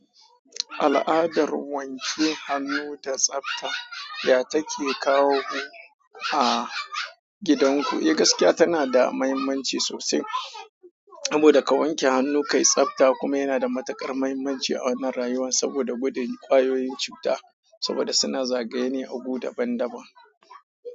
Al'adar wanke hannu da tsafta ya take kawo mu a gidan ku, eh gaskiya tana da muhimmanci sosai. Saboda ka wanke hannu kayi tsafta kuma yana da matukar muhimmanci a wannan rayuwa, saboda gudun kwayoyin cuta, saboda suna zagaye ne a agu daban daban.